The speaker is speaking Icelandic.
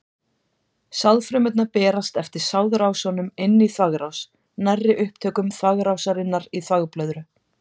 Sáðfrumurnar berast eftir sáðrásunum inn í þvagrás, nærri upptökum þvagrásarinnar í þvagblöðru.